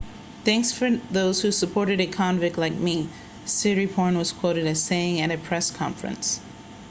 thanks for those who supported a convict like me siriporn was quoted as saying at a press conference